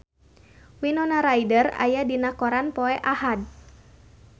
Winona Ryder aya dina koran poe Ahad